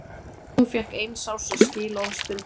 Hún fékk eins árs skilorðsbundinn dóm